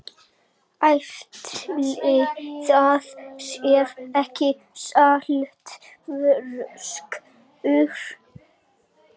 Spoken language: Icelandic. Ætli það sé ekki saltfiskur.